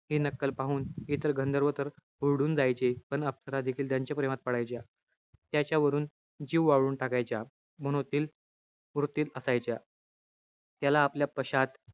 हि नक्कल पाहून इतर गंधर्व तर हुरळून जायचे. पण अप्सरा देखील त्यांच्या प्रेमात पडायच्या. त्याच्यावरून, जीव ओवाळून टाकायच्या. मनोतील वृत्तीत असायच्या. त्याला आपल्या पश्चात,